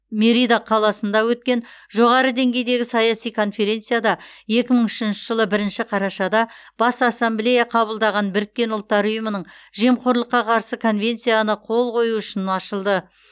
мерида қаласында өткен жоғары деңгейдегі саяси конференцияда екі мың үшінші жылы бірінші қарашада бас ассамблея қабылдаған біріккен ұлттар ұйымының жемқорлыққа қарсы конвенцияны қол қою үшін ашылды